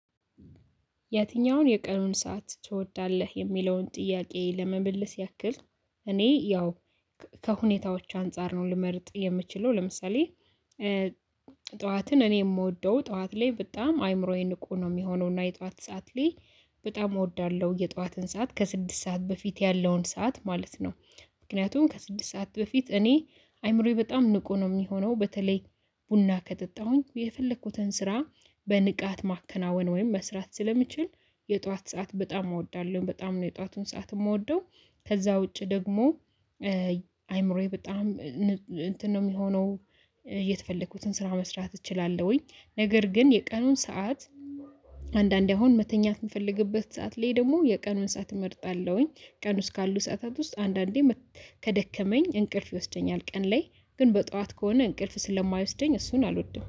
የትኛውን የቀኑን ሰዓት ትወዳለህ የሚለውን ጥያቄ ለመመለስ ያክል እኔ ያው ከሁኔታዎች አንፃር ነው ልመርጥ የምችለው። ለምሳሌ ጠዋትን እኔ የምወደው ጠዋት ላይ በጣም አይምሮዬን ንቁ ነው የሚሆነው። እና የጠዋት ሰዓት ላይ በጣም እወዳለሁ የጠዋትን ሰዓት ከስድስት ሰዓት በፊት ያለውን ሰዓት ማለት ነው። ምክንያቱም ከስድስት ሰዓት በፊት እኔ አይምሮዬ በጣም ንቁ ነው የሚሆነው። በተለይ ቡና ከጠጣሁኝ የፈለኩትን ስራ በንቃት ማከናወን ወይም መስራት ስለሚችል የጧት ሰዓት በጣም እወዳለሁ። በጣም ነው የጧቱን ሰዓት የምወደው። ከዛ ውጪ ደግሞ አይምሮዬ በጣም እንትን ነው የሚሆነው። የተፈለኩትን ስራ መስራት እችላለሁኝ። ነገር ግን የቀኑን ሰዓት አንዳንዴ አሁን መተኛት የምፈልግበት ሰዓት ላይ ደግሞ የቀኑን ሰዓት እመርጣለሁኝ። ቀን ውስጥ ካሉ ሰዓታት ውስጥ አንዳንዴ ከደከመኝ እንቅልፍ ይወስደኛል። ቀን ላይ ግን በጠዋት ከሆነ እንቅልፍ ስለማይወስደኝ እሱን አልወድም